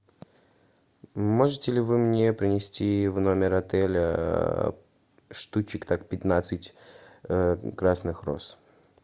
можете ли вы мне принести в номер отеля штучек так пятнадцать красных роз